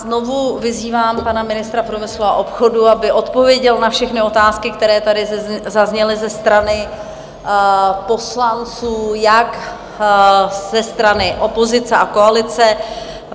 Znovu vyzývám pana ministra průmyslu a obchodu, aby odpověděl na všechny otázky, které tady zazněly ze strany poslanců, jak ze strany opozice a koalice.